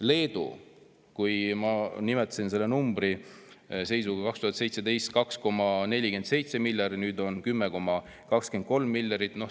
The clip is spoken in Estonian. Leedu numbrid ma nimetasin: 2017. aasta seisuga oli 2,47 miljardit ja nüüd on see 10,23.